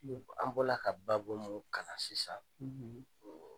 An bɔla ka baabu min kalan sisan,